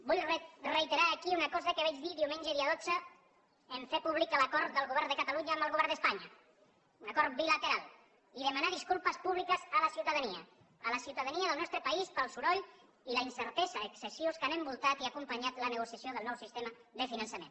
vull reiterar aquí una cosa que vaig dir diumenge dia dotze en fer públic l’acord del govern de catalunya amb el govern d’espanya un acord bilateral i demanar disculpes públiques a la ciutadania a la ciutadania de nostre país pel soroll i la incertesa excessius que han envoltat i acompanyat la negociació del nou sistema de finançament